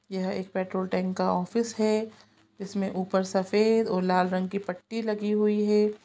यह एक petrol tank का ऑफिस हैं इसमें ऊपर सफ़ेद और लाल रंग की पट्टी लगी हुई हैं।